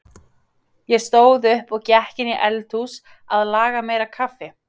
Ég stóð upp og gekk inn í eldhús að laga meira kaffi.